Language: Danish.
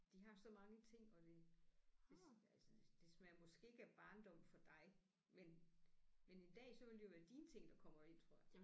De har så mange ting og det det altså det smager måske ikke af barndom for dig men men en dag så vil det jo være dine ting der kommer ind tror jeg